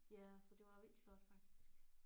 Ja så det var vildt flot faktisk